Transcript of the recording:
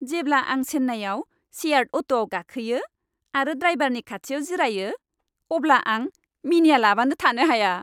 जेब्ला आं चेन्नाइआव सेयार्ड अट'आव गाखोयो आरो ड्राइभारनि खाथियाव जिरायो अब्ला आं मिनिआलाबानो थानो हाया।